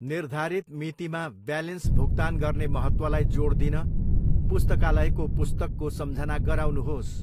निर्धारित मितिमा ब्यालेन्स भुक्तान गर्ने महत्त्वलाई जोड दिन पुस्तकालयको पुस्तकको सम्झना गराउनुहोस्।